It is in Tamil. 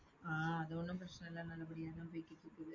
ஆஹ் அது ஒண்ணும் பிரச்சனை இல்லை நல்லபடியாத்தான் போயிட்டிருக்கு .